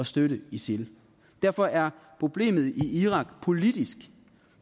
støtte isil derfor er problemet i irak politisk